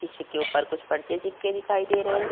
किशी के उप्पर कुछ पर्चे चिपके दिखाई दे रहे हैं।